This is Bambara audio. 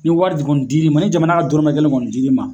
Ni wari kɔni diri ma ni jamana ka dɔrɔmɛn kelen kɔni diri ma.